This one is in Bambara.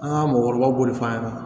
An ka mɔgɔkɔrɔbaw b'o de f'a ɲɛna